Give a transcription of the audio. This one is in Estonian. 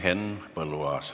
Henn Põlluaas.